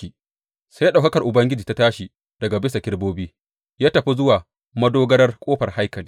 Sai ɗaukakar Ubangiji ya tashi daga bisa kerubobi ya tafi zuwa madogarar ƙofar haikali.